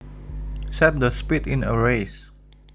Set the speed in a race